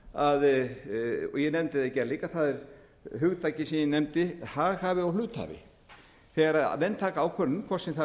og ég nefndi það í gær líka það er hugtakið sem ég nefndi haghafi og hluthafi þegar menn taka ákvörðun hvort sem það er á